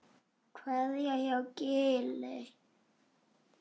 Kveðja frá Gili.